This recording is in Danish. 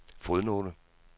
fodnote